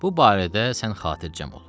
Bu barədə sən xatircəm ol.